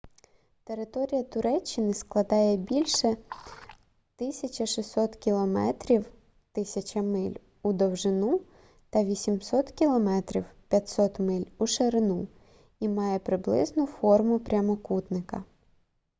територія туреччини складає більше 1600 кілометрів 1000 миль у довжину та 800 км 500 миль у ширину і має приблизну форму прямокутника